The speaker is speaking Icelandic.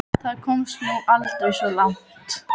Það komst nú aldrei svo langt.